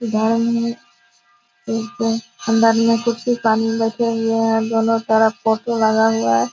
इधर में अंदर में कुछ कुछ पानी रखे हुए हैं दोनों तरफ फोटो लगा हुआ है।